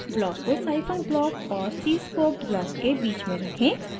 block को scifunc block और cscope block के बीच में रखें